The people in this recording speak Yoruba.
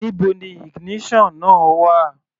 Níbo ni ignition náà wà?